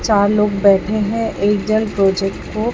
चार लोग बैठे हैं एक जल प्रोजेक्ट को--